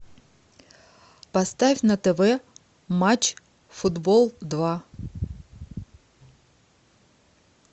поставь на тв матч футбол два